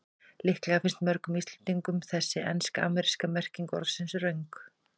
Líklega finnst mörgum Íslendingum þessi ensk-ameríska merking orðsins röng.